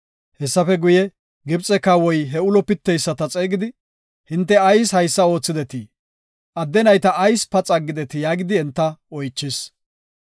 Hessafe guye, Gibxe kawoy he ulo pitteyisata xeegidi, “Hinte ayis haysa oothidetii? Adde nayta ayis paxa aggetii?” yaagidi enta oychis.